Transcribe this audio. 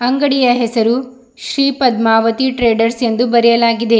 ಅಂಗಡಿಯ ಹೆಸರು ಶ್ರೀಪದ್ಮಾವತಿ ಟ್ರೇಡರ್ಸ್ ಎಂದು ಬರೆಯಲಾಗಿದೆ.